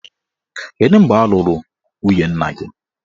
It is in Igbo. Kedu mgbe a lụrụ nwunye nna gị?